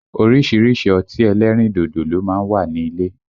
Orísìírísìí ọtí ẹlẹ́rìn dodo ló má ń wà ní ilé